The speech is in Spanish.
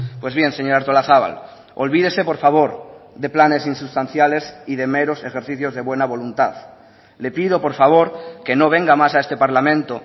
pues bien señora artolazabal olvídese por favor de planes insustanciales y de meros ejercicios de buena voluntad le pido por favor que no venga más a este parlamento